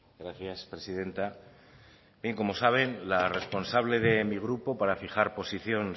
gracias presidenta bien como saben la responsable de mi grupo para fijar posición